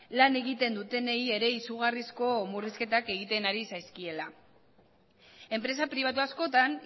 lan egiten dutenei ere izugarrizko murrizketak egiten ari zaizkiela enpresa pribatu askotan